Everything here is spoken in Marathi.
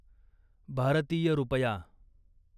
भारतीय रुपया